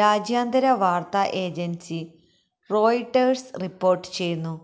രാജ്യാന്തര വാർത്താ agency Reuters report ചെയ്യുന്നു